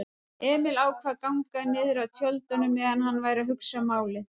Emil ákvað að ganga niðrað tjöldunum meðan hann væri að hugsa málið.